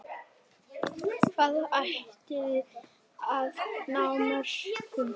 Hvað ætliði að ná mörgum?